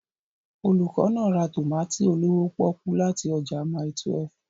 Olùkọ́ náà ra tòmátì olówó pọ́ọ́kú láti ọjà Mile 1w.